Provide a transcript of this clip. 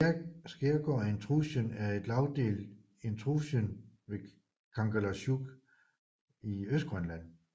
Skaergaard intrusionen er en lagdelt intrusion ved Kangerlussuaq i Østgrønland